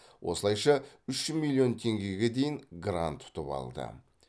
осылайша үш миллион теңгеге дейін грант ұтып алды